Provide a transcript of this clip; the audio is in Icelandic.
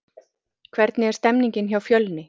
Hvernig er stemningin hjá Fjölni?